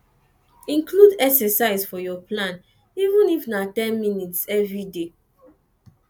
include exercise for your plan even if na ten minutes everyday